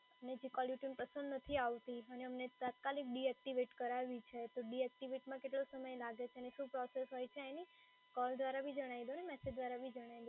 અને જે કોલરટ્યુન પસંદ નથી અને અમને તાત્કાલિક ડિએક્ટિવેટ કરાવી છે તો ડિએક્ટિવેટમાં કેટલો સમય લાગે છે અને શું પ્રોસેસ હોય છે એની કૉલ દ્વારા બી જણાઈ દો અને મેસેજ દ્વારા બી જણાઈ દો